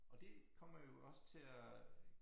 Og det kommer jo også til at